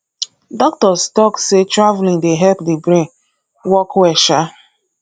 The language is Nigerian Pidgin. doctors talk sey traveling dey help the brain work well um